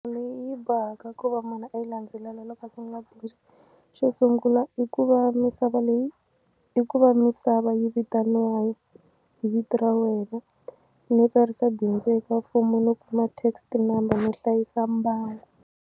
Leyi bohaka ku va munhu a yi landzelela loko a sungula bindzu xo sungula i ku va misava leyi i ku va misava yi vitaniwa vito ra wena no tsarisa bindzu eka mfumo no kuma text number no hlayisa mbangu.